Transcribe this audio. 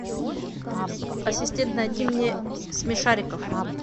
ассистент найди мне смешариков